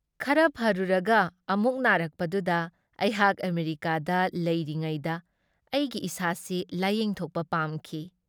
ꯈꯔ ꯐꯔꯨꯔꯒ ꯑꯃꯨꯛ ꯅꯥꯔꯛꯄꯗꯨꯗ ꯑꯩꯍꯥꯛ ꯑꯃꯦꯔꯤꯀꯥꯗ ꯂꯩꯔꯤꯉꯩꯗ ꯑꯩꯒꯤ ꯏꯁꯥꯁꯤ ꯂꯥꯌꯦꯡꯊꯣꯛꯄ ꯄꯥꯝꯈꯤ ꯫